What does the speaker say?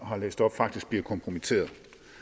har læst op faktisk bliver kompromitteret